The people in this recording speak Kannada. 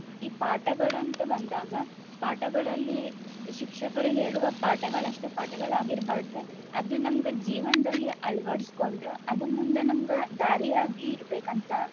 ಈ ಪಾಠಗಳ್ ಅಂತ್ ಬಂದಾಗ ಪಾಠಗಳಲ್ಲಿ ಶಿಕ್ಷಕರು ಹೇಳುವ ಪಾಠಗಳಷ್ಟೆ ಪಾಠಗಳಾಗಿರ್ಬಾರ್ದ್ ಅದ ನಮ್ಗ ಜೀವನ್ದಲ್ಲಿ ಅಳ್ವಡ್ಸೊಂಡ್ ಅದು ಮುಂದ ನಮ್ಗ ದಾರಿಯಾಗಿ ಇರ್ಬೇಕಂತ.